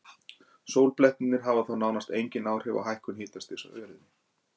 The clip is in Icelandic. Sólblettirnir hafa þó nánast engin áhrif á hækkun hitastigs á jörðunni.